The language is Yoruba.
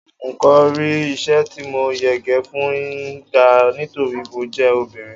n ko ri isẹ ti mo yege fún gba nítorí mo je obìnrin